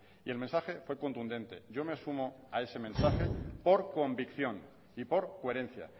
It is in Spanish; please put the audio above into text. y el mensaje fue contundente yo me sumo a este mensaje por convicción y por coherencia